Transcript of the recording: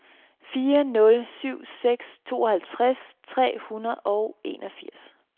fire nul syv seks tooghalvtreds tre hundrede og enogfirs